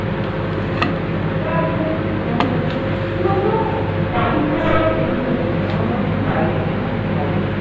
আমার খুব মানে কি বলতো বাড়ির খাবার আর খেতে ইচ্ছা করছে না আমার মনে হচ্ছে বাইরে গিয়ে কিছু খাই।